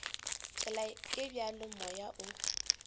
tsela e bjalo moya o